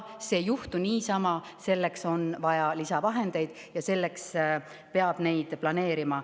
See ei juhtu niisama, selleks on vaja lisavahendeid ja neid peab planeerima.